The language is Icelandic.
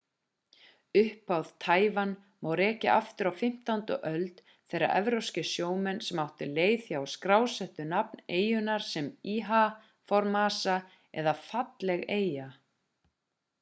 upphaf taívan má rekja aftur á 15. öld þegar evrópskir sjómenn sem áttu leið hjá skrásettu nafn eyjunnar sem ilha formosa eða falleg eyja